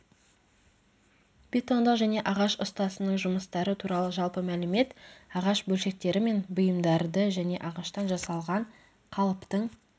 бетондық және ағаш ұстасының жұмыстары туралы жалпы мәлімет ағаш бөлшектері мен бұйымдарды және ағаштан жасалған қалыптың